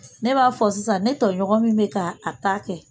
Ne b'a fɔ sisan ne tɔɲɔgɔn min bɛ ka a ta kɛ.